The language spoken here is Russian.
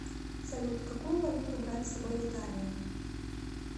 салют какую валюту брать с собой в италию